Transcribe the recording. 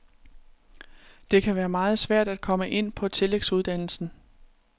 Det kan være meget svært at komme ind på tillægsuddannelsen.